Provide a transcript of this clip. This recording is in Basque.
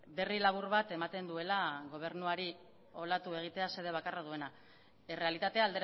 berri labur bat ematen duela gobernuari olatu egitea xede bakarra duena errealitatea